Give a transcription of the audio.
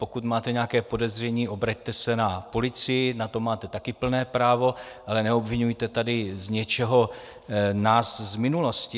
Pokud máte nějaké podezření, obraťte se na policii, na to máte také plné právo, ale neobviňujte tady z něčeho nás z minulosti.